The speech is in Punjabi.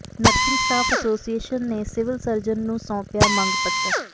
ਨਰਸਿੰਗ ਸਟਾਫ਼ ਐਸੋਸੀਏਸ਼ਨ ਨੇ ਸਿਵਲ ਸਰਜਨ ਨੰੂ ਸੌ ਾਪਿਆ ਮੰਗ ਪੱਤਰ